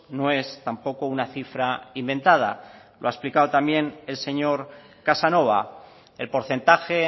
no es tampoco una cifra inventada lo ha explicado también el señor casanova el porcentaje